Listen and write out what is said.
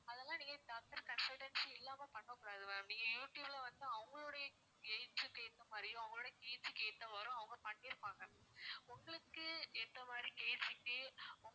அதெல்லாம் நீங்க doctor consultancy இல்லாம பண்ண கூடாது ma'am நீங்க youtube ல வந்து அவங்களுடைய gains க்கு ஏத்த மாதிரியும் அவங்களுடைய KG க்கு ஏத்த மாதிரி அவங்க பண்ணியிருப்பாங்க உங்களுக்கு ஏத்த மாதிரி